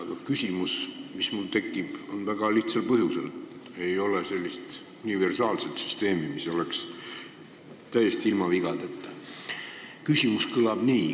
Aga küsimus tekib mul väga lihtsal põhjusel: ei ole sellist universaalset süsteemi, mis oleks täiesti ilma vigadeta.